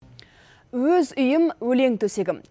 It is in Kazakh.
өз үйім өлең төсегім